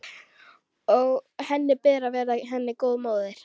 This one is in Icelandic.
Og að henni ber að vera henni góð móðir.